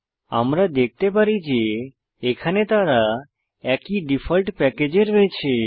আমরা দেখতে পারি যে এখানে তারা একই ডিফল্ট প্যাকেজে রয়েছে